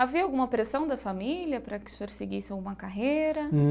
Havia alguma pressão da família para que o senhor seguisse uma carreira?